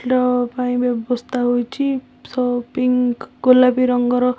ଡଃ ପାଇଁ ବ୍ୟବସ୍ଥା ହୋଇଚି। ସ ପିଙ୍କ ଗୋଲାପି ରଙ୍ଗର --